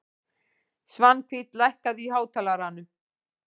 Svanhvít, lækkaðu í hátalaranum.